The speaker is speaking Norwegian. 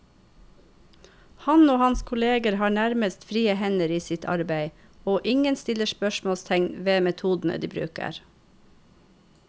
Han og hans kolleger har nærmest frie hender i sitt arbeid, og ingen stiller spørsmålstegn ved metodene de bruker.